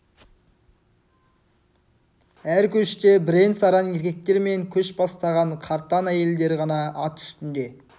әр көште бірен-саран еркектер мен көш бастаған қартаң әйелдер ғана ат үстінде